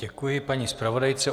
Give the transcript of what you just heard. Děkuji paní zpravodajce.